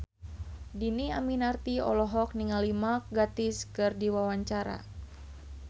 Dhini Aminarti olohok ningali Mark Gatiss keur diwawancara